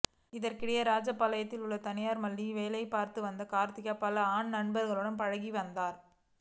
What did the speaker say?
இதற்கிடையே ராஜபாளையத்தில் உள்ள தனியார் மில்லில் வேலை பார்த்து வந்த கார்த்திகா பல ஆண் நண்பர்களுடன் பழகி வந்தார்